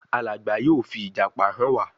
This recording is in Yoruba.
Alàgbà yóò fi ìjàpá hàn wá